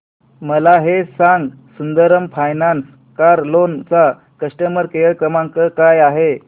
मला हे सांग सुंदरम फायनान्स कार लोन चा कस्टमर केअर क्रमांक काय आहे